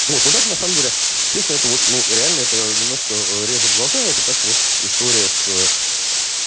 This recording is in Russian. вот ну так на самом деле честно это вот ну реально это немножко режет глаза это как вот история с